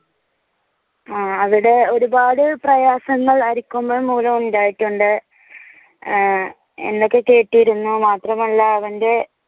അവിടെ ഒരുപാട് പ്രയാസങ്ങൾ അരിക്കൊമ്പൻ മൂലം ഉണ്ടായിട്ടുണ്ട് ആഹ് എന്നൊക്കെ കേട്ടിരുന്നു മാത്രം അല്ല അവന്റെ